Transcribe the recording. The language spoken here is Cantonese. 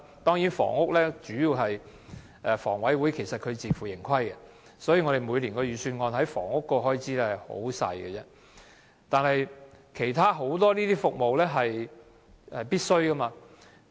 當然，在房屋方面，房委會其實是自負盈虧的，所以每年的預算案在房屋方面的開支十分少，但其他很多服務都是必需的。